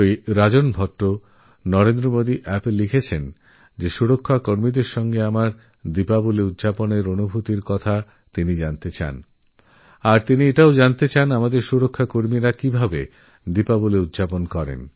শ্রীমান রাজন ভট্ট নরেন্দ্রমোদীঅ্যাপএ লিখেছেন যে উনি প্রতিরক্ষা বাহিনীর সঙ্গে আমার দীপাবলীর অভিজ্ঞতারব্যাপারে জানতে চান আর উনি এটাও জানতে চান যে প্রতিরক্ষা বাহিনী কীভাবে দীপাবলীপালন করে